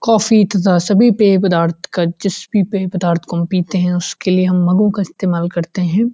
Coffee तथा सभी पे पदार्थ का सभी पे पदार्थ जिस भी पे पदार्थ को हम पीते हैं उसके लिए हम मगो का इस्तेमाल करते हैं।